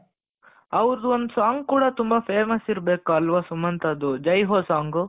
ಅವರದೊಂದು song ಕೂಡ ತುಂಬಾ famous ಇರಬೇಕು ಅಲ್ವಾ ಸುಮಂತ್ ಅದು ಜೈ ಹೋ song